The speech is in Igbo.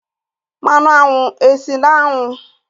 Mmanụ aṅụ esi n'aṅu?